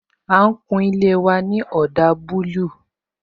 A ń kun ilé wa ní ọdà búlúù